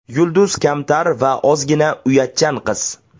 Yulduz kamtar va ozgina uyatchan qiz.